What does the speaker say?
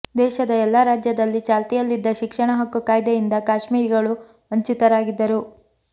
ದೇಶದ ಎಲ್ಲಾ ರಾಜ್ಯದಲ್ಲಿ ಚಾಲ್ತಿಯಲ್ಲಿದ್ದ ಶಿಕ್ಷಣ ಹಕ್ಕು ಕಾಯ್ದೆಯಿಂದ ಕಾಶ್ಮೀರಿಗಳು ವಂಚಿತರಾಗಿದ್ದರು